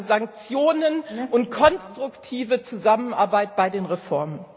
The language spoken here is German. Also, Sanktionen und konstruktive Zusammenarbeit bei den Reformen!